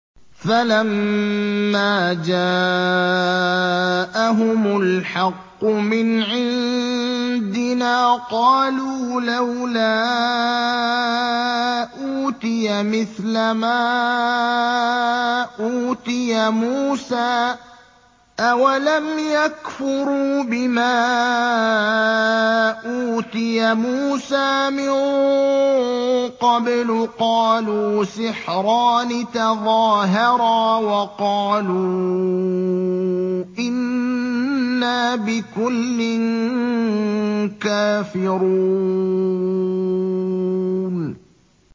فَلَمَّا جَاءَهُمُ الْحَقُّ مِنْ عِندِنَا قَالُوا لَوْلَا أُوتِيَ مِثْلَ مَا أُوتِيَ مُوسَىٰ ۚ أَوَلَمْ يَكْفُرُوا بِمَا أُوتِيَ مُوسَىٰ مِن قَبْلُ ۖ قَالُوا سِحْرَانِ تَظَاهَرَا وَقَالُوا إِنَّا بِكُلٍّ كَافِرُونَ